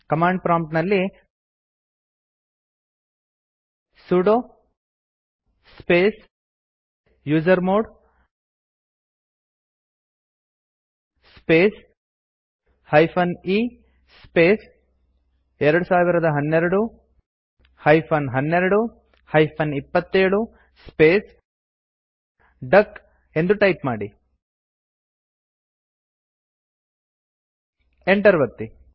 command prompt ನಲ್ಲಿ sudo space usermod space - e space 2012 - 12 -27 space ಡಕ್ ಎದು ಟೈಪ್ ಮಾಡಿ enter ಒತ್ತಿ